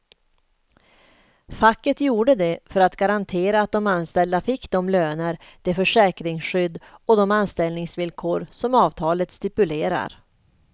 Facket gjorde det för att garantera att de anställda fick de löner, det försäkringsskydd och de anställningsvillkor som avtalet stipulerar.